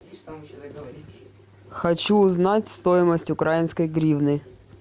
хочу узнать стоимость украинской гривны